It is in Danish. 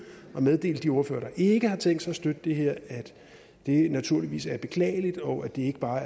og meddele de ordførere der ikke har tænkt sig at støtte det her at det naturligvis er beklageligt og at det ikke bare er